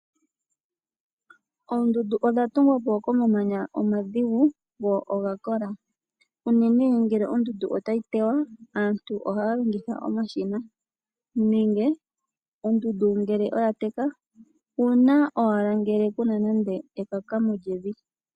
Oondundu odha tungwa po komamanya omadhigu go oga kola. Unene ngele ondundu otayi tewa, aantu ohaa longitha omashina, nenge ondundu ngele oya teka, uuna owala ngele ku na ekaka mo lyevi.